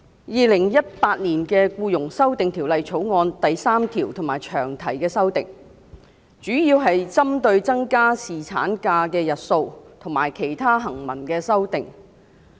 《2018年僱傭條例草案》第3條及詳題的修訂，主要是針對增加侍產假日數及其他行文的修訂。